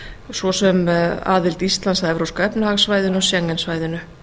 svo sem aðild íslands að evrópska efnahagssvæðinu og schengen svæðinu